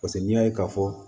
Paseke n'i y'a ye ka fɔ